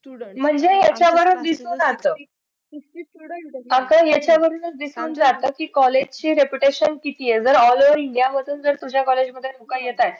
म्हणजे समोर दिसतात आता याच्या वरूनच दिसून जात कि college ची reputation अशी ये कि all over india जर तुझ्या college मध्ये लोक येतायंत तर